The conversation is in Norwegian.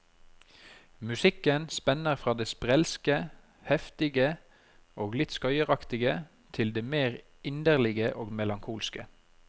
Musikken spenner fra det sprelske, heftige og litt skøyeraktige til det mer inderlige og melankolske.